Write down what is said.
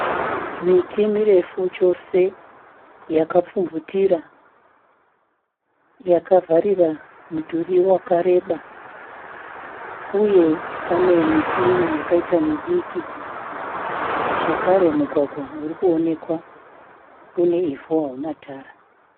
Miti mirefu chose yakapfumvutira, yakavharira mudhuri wakareba uye pane miti imwe yakaita midiki zvakare mugwagwa uri kuonekwa, une ivhu hauna tara.